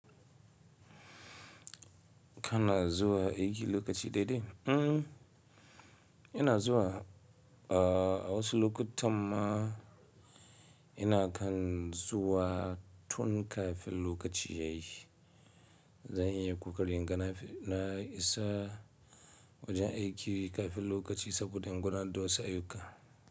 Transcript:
Kana zuwa aiki lokaci daidai? Mm, ina zuwa. Uh, wasu lokutan ma ina kan zuwa tun kafin lokaci yayi. Zanyi kokarin gana na isa wajen aiki kafin lokaci saboda inga na dosa ayuka.